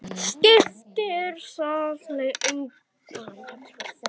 Skiptir það þig engu máli?